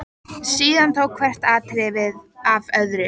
Komið því út úr sér einmitt á þeirri stundu.